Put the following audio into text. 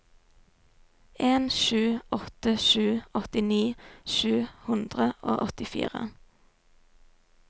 en sju åtte sju åttini sju hundre og åttifire